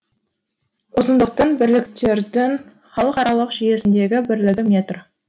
ұзындықтың бірліктердің халықаралық жүйесіндегі бірлігі метр